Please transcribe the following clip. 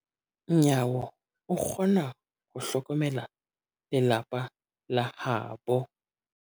Nyawo o kgona ho hlokomela lelapa la habo.